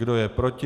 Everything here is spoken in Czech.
Kdo je proti?